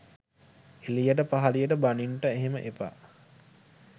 එලියට පහලියට බනින්ට එහෙම එපා.